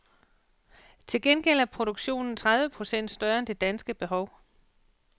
Til gengæld er produktionen tredive procent større end det danske behov.